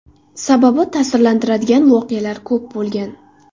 Sababi ta’sirlantiradigan voqealar ko‘p bo‘lgan.